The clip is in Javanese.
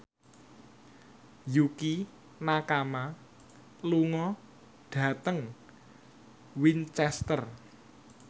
Yukie Nakama lunga dhateng Winchester